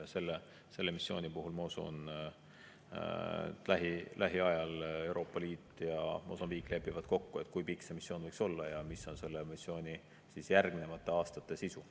Selle missiooni puhul ma usun, et lähiajal Euroopa Liit ja Mosambiik lepivad kokku, kui pikk see missioon võiks olla ja mis on selle missiooni järgnevate aastate sisu.